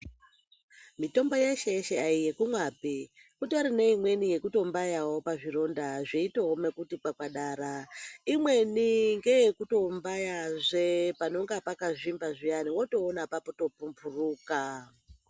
Mitombo yeshe yeshe ai yekumwapi. Kutori neimweni yeku tombayawo pazvironda zveitooma kuti kwakwadara. Imweni ngeye kutombayazve panonga pakazvimba zviyani wotoona pato pumbhuruka